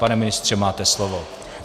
Pane ministře, máte slovo.